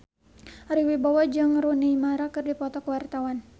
Ari Wibowo jeung Rooney Mara keur dipoto ku wartawan